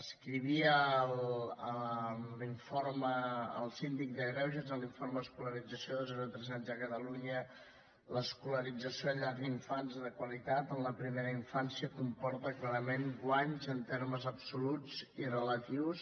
escrivia en l’informe el síndic de greuges en l’informe d’escolarització de zero a tres anys a catalunya l’escolarització en llar d’infants de qualitat en la primera infància comporta clarament guanys en termes absoluts i relatius